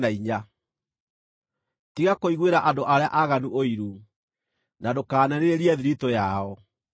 Tiga kũiguĩra andũ arĩa aaganu ũiru, na ndũkanerirĩrie thiritũ yao,